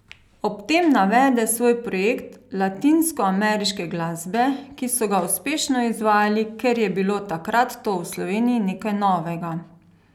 Ob tem navede svoj projekt latinskoameriške glasbe, ki so ga uspešno izvajali, ker je bilo takrat to v Sloveniji nekaj novega.